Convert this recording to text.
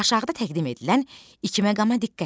Aşağıda təqdim edilən iki məqama diqqət et.